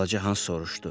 Balaca Hans soruşdu.